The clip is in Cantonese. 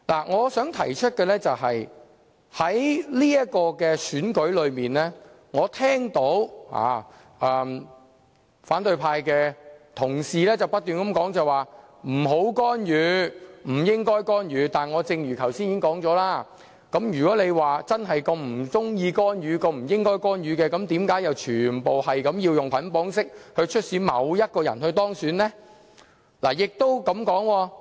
我想提出的是，就這次選舉而言，我聽到反對派同事不斷提出不要干預和不應該干預，但正如我剛才也說過，如果他們真的不喜歡或覺得不應該干預，為何又要全部選委以捆綁式促使某人當選呢？